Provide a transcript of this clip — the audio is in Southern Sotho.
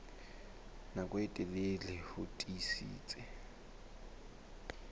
nako e telele ho tiisitse